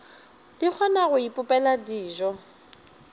di kgona go ipopela dijo